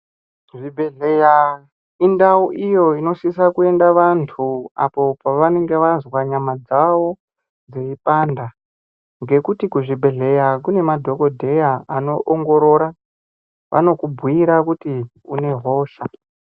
Zvibhedhlera indau iyo inosisa kuenda vantu apo pavanenge vazwa nyama dzawo dzeipanda ngekuti kuzvibhedhlera kune madhokodheya anoongorora vanokubhuira kuti une hosha.